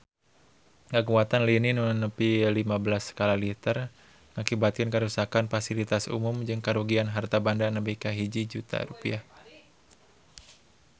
Kakuatan lini nu nepi lima belas skala Richter ngakibatkeun karuksakan pasilitas umum jeung karugian harta banda nepi ka 1 juta rupiah